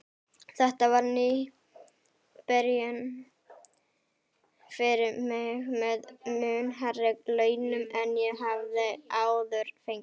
Þetta var ný byrjun fyrir mig með mun hærri launum en ég hafði áður fengið.